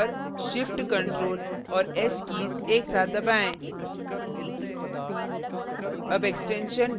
पहले keyboard पर shift ctrl और s कीज एक साथ दबाएँ